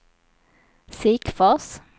Sikfors